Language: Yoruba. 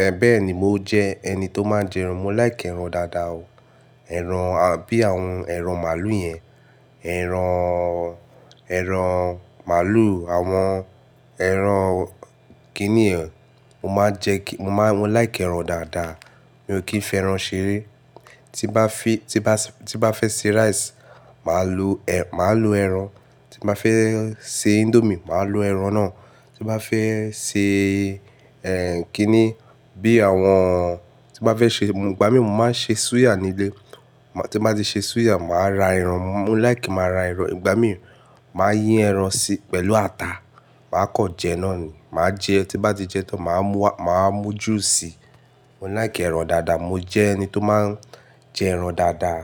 Ẹ̀ bẹ́ẹ̀ ni, mo jẹ ẹni tó máa ń jẹ ẹran. Mo like ẹran dáadáa o. Ẹran, bí àwọn ẹran màálù yẹn. Ẹran, ẹran màálù, àwọn ẹran kinnì yẹn. Mo máa ń jẹ kí, mo máa, mo like ẹran dáadáa. Mi ò kí ń fi ẹran ṣeré. Tí bá fi, tí bá, tí bá fẹ́ se rice, màá lo, màá lo ẹran. Tí bá fẹ́ se indomie, màá lo ẹran náà. Tí bá fẹ́ ṣe, ẹ, kíni, bí àwọn, tí bá fẹ́ ṣe, ìgbà mì mo máa ń ṣe suya nílé. Tí bá ti ṣe suya, màá ra ẹran. Mo like máa ra ẹran. Ìgbà mìíràn, màá yin ẹran sí, pẹ̀lú ata, màá kan jẹ náà ni. Màá jẹ, tí bá ti jẹ tán, màá múá, màá mú juice. Mo like ẹran dáadáa. Mo jẹ ẹni tó máa ń jẹ ẹran dáadáa.